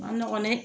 A ma nɔgɔn dɛ